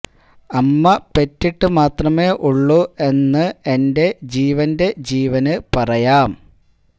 അമ്മ പെറ്റിട്ട് മാത്രമേ ഉള്ളൂ എന്ന് എന്റെ ജീവന്റെ ജീവന് പറയാം